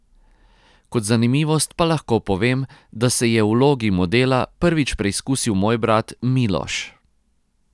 Kot zanimivost pa lahko povem, da se je v vlogi modela prvič preizkusil moj brat Miloš.